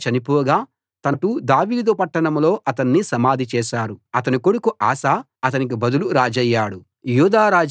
అబీయా చనిపోగా తన పూర్వీకులతో పాటు దావీదు పట్టణంలో అతన్ని సమాధిచేశారు అతని కొడుకు ఆసా అతనికి బదులు రాజయ్యాడు